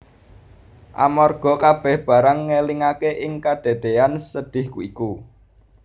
Amarga kabèh barang ngelingaké ing kadadéyan sedhih iku